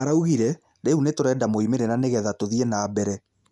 Araugire, rĩu nĩturenda moimĩrĩra nigetha tũthie na mbere